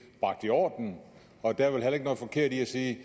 bragt i orden og der er vel heller ikke noget forkert i at sige at